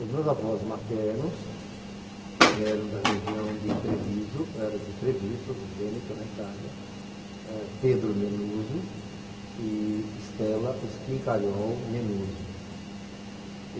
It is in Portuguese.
Os meus avós maternos eram da região de Treviso, era de Treviso, do Vêneto, na Itália, ah Pedro Menuso e Stella Schincariol Menuso.